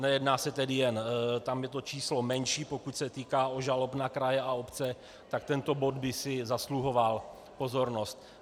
Nejedná se tedy jen - tam je to číslo menší, pokud se jedná o žaloby na kraje a obce, tak tento bod by si zasluhoval pozornost.